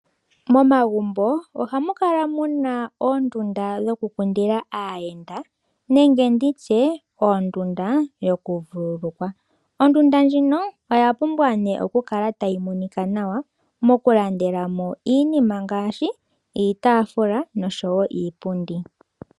Momagumbo oha mu kala muna oondunda dhoku kundila aayenda nenge nditye oondunda yoku vululukwa. Ondunda ndjino oya pumbwa ne oku kala tayi monika nawa moku landela mo iinima ngaashi iitafula noshowo iipundi.